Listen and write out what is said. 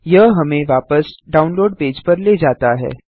यह हमें वापस डाउनलोड पेज पर ले जाता है